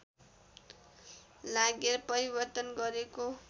लागेर परिवर्तन गरेको